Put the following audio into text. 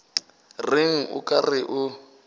reng o ka re o